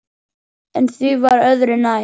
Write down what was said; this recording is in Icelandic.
En því var öðru nær.